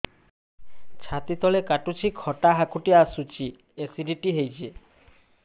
ଛାତି ତଳେ କାଟୁଚି ଖଟା ହାକୁଟି ଆସୁଚି ଏସିଡିଟି ହେଇଚି